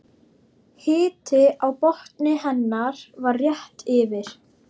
Hiti á botni hennar var rétt yfir